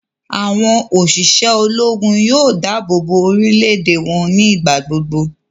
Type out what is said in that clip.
Awọn oṣiṣẹ Ológùn yóò dáàbòbo orílè-èdè wọn nigbagbogbo